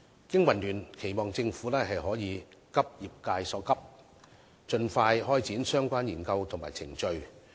經民聯期望政府可以急業界所急，盡快開展相關研究和程序。